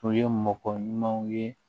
O ye mɔgɔ ɲumanw ye